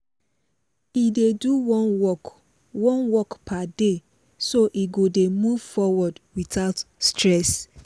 e dey do one work one work per day so e go dey move forward without stress